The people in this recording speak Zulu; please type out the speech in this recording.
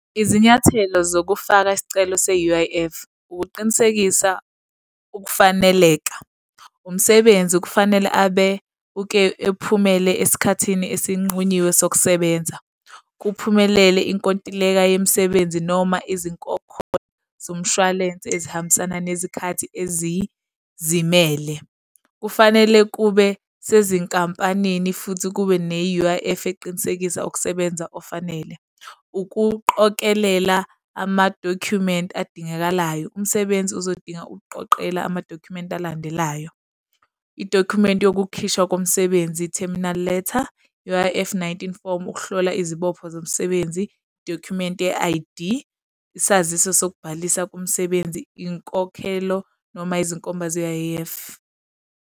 Izinyathelo zokufaka isicelo se-U_I_F. Ukuqinisekisa ukufaneleka. Umsebenzi kufanele abe uke ephumelele esikhathini esinqunyiwe sokusebenza, kuphumelele inkontileka yemisebenzi noma izinkokhelo zomshwalense ezihambisana nezikhathi ezizimele. Kufanele kube sezinkampanini futhi kube ne-U_I_F eqinisekisa ukusebenza ofanele. Ukuqokelela ama-document adingakalayo. Umsebenzi uzodinga ukuqoqela ama-document alandelayo. I-document yokukhishwa komsebenzi, terminal letter I-U_I_F nineteen form ukuhlola izibopho zomsebenzi, document ye-I_D, isaziso sokubhalisa komsebenzi, inkokhelo noma izinkomba ze-U_I_F.